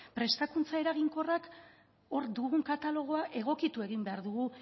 prestakuntza eraginkorrak hor dugun katalogoa egokitu egin behar dugu